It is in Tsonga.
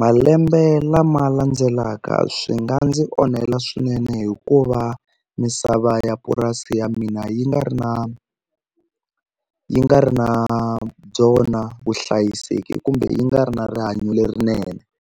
malembe lama landzelaka swi nga ndzi onhela swinene hikuva misava ya purasi ya mina yi nga ri na yi nga ri na byona vuhlayiseki kumbe yi nga ri na rihanyo lerinene.